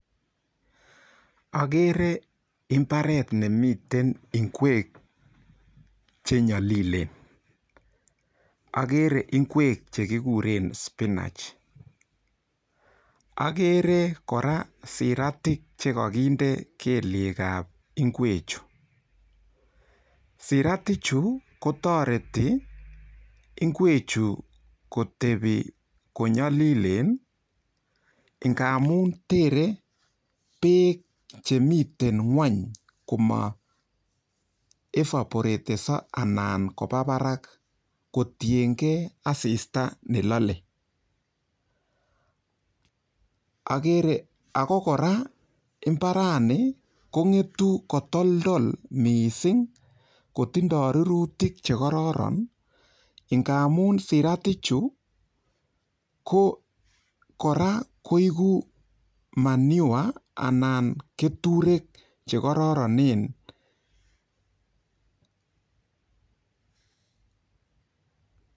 Akere mbaret nemiten ingwek chenyolilen. Akere ingwek che kigure spinach. Akere kora siratik chekakinde kelyekab ingwechu. Siratichu koytoreti ingwechu kotepi konyolilen ngamun terei beek chemitei ng'weny koma evaporatenso anan kopabarak kotiengei asista nelalei. Ako kora mbarani kong'etu kotoltol mising kotindoi rurutik chekororon amun siratichu kora koegu manure anan keturek chekororonen.